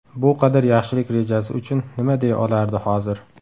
Bu qadar yaxshilik rejasi uchun nima deya olardi hozir.